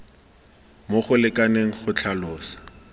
mo go lekaneng go tlhalosa